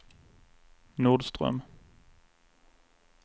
Nordström